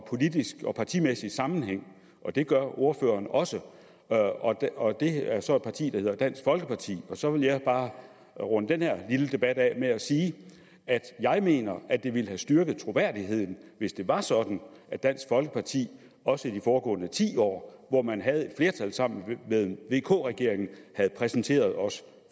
politisk og partimæssig sammenhæng det gør ordføreren også det er så for et parti der hedder dansk folkeparti så vil jeg bare runde den her lille debat af med at sige at jeg mener at det ville styrke troværdigheden hvis det var sådan at dansk folkeparti også i de foregående ti år hvor man havde flertal sammen med vk regeringen havde præsenteret os